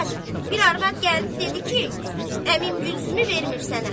bir arvad gəldi dedi ki, əmim gülsümü vermir sənə.